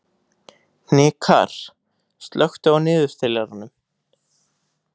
Hnikarr, slökktu á niðurteljaranum.